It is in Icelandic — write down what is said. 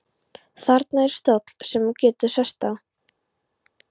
Þarna er stóll sem þú getur sest á.